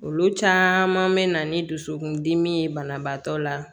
Olu caman bɛ na ni dusukundimi ye banabaatɔ la